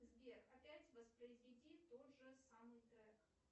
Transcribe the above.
сбер опять воспроизведи тот же самый трек